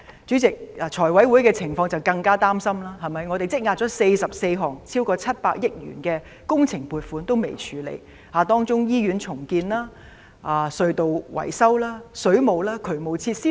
主席，財委會的情況更令人擔心，我們已積壓了44項超過700億元的工程撥款尚未處理，當中有醫院重建、隧道維修、水務、渠務設施等。